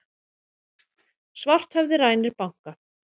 Svarthöfði rænir banka